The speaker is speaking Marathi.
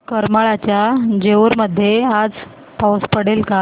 करमाळ्याच्या जेऊर मध्ये आज पाऊस पडेल का